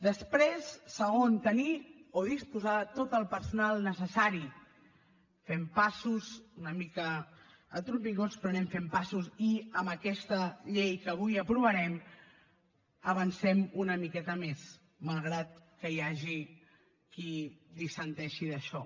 després segon tenir o disposar de tot el personal necessari fem passos una mica a trompicons però anem fent passos i amb aquesta llei que avui aprovarem avancem una miqueta més malgrat que hi hagi qui dissenteix d’això